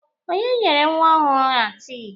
Onye nyere nwa ọhụrụ a tii?